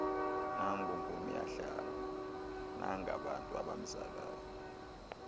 nangonkomiyahlaba nangabantu abamzalayo